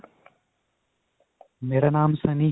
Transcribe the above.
ਮੇਰਾ ਨਾਮ sunny.